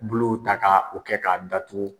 bolow ta ka o kɛ k'a datugu.